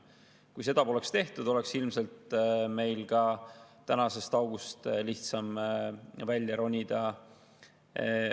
Kui seda poleks tehtud, oleks meil tänasest august ilmselt lihtsam välja ronida.